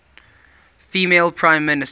female prime minister